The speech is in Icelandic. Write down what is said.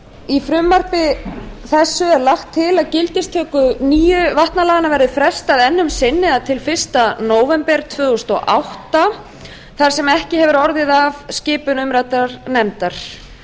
í frumvarpi þessu er lagt til að gildistöku nýju vatnalaganna verði frestað enn um sinn eða til fyrsta nóvember tvö þúsund og átta þar sem ekki hefur orðið af skipun umræddrar nefndar